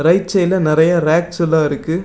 Right சைடுல நறையா racks எல்லா இருக்கு.